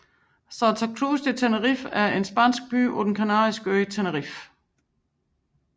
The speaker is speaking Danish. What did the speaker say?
Santa Cruz de Tenerife er en spansk by på den kanariske ø Tenerife